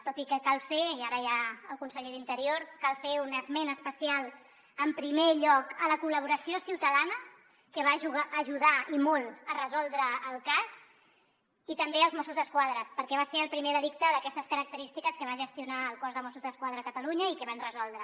tot i que cal fer i ara hi ha el conseller d’interior un esment especial en primer lloc a la col·laboració ciutadana que va ajudar i molt a resoldre el cas i també als mossos d’esquadra perquè va ser el primer delicte d’aquestes característiques que va gestionar el cos de mossos d’esquadra a catalunya i que van resoldre